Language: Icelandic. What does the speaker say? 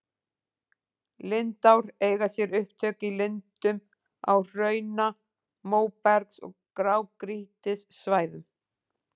Lindár eiga sér upptök í lindum á hrauna-, móbergs- og grágrýtissvæðum.